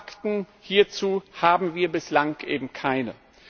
Fakten hierzu haben wir bislang eben keine.